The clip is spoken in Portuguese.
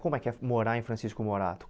Como é que é morar em Francisco Morato?